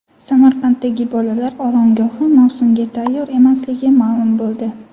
Samarqanddagi bolalar oromgohi mavsumga tayyor emasligi ma’lum bo‘ldi.